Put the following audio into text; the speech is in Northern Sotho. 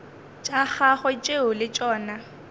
tša gagwe tšeo le tšona